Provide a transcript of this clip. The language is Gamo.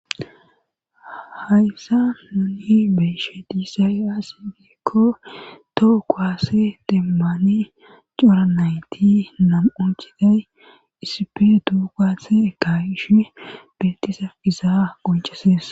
Hayssa nuni beyshe diisay as biikko toho koase deemmani cora nayti nam7u chiday isipe duugats ekawishe beltisa izaa gonceses